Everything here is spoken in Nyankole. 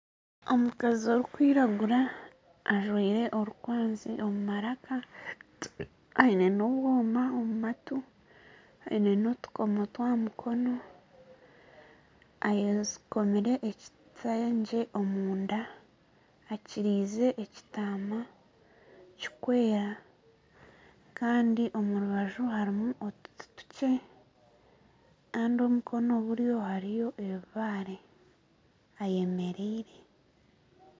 Omukazi orikwiragura ajwaire orukwazi omu maraka aine n'obwoma omu matu aine n'otukomo twaha mukono ayekomire ekitengye omunda ekyirize ekitaama kikwera kandi omu rubaju harimu otuti tukye kandi omukono buryo hariyo ebibare, ayemereire.